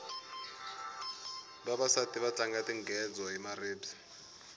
vavasati va tlanga tingedzo hi maribye